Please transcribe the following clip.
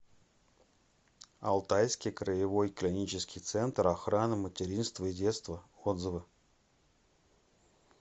алтайский краевой клинический центр охраны материнства и детства отзывы